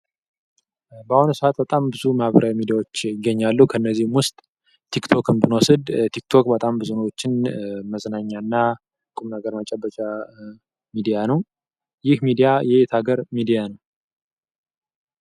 በአሁኑ ሰዓት ብዙ ማህበራዊ ሚዲያዎች ይገኛሉ ከነዚህም ውስጥ ታክቶክ ብዙም ነገሮችን ቁም ነገር መጨበጫና ሚዲያ ይህ ሚዲያ የየትሀገር ሚዲያ ነው?